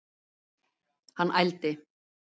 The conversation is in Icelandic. Hann ældi.